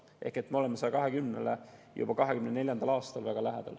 Ehk me oleme 2024. aastal 120%-le juba väga lähedal.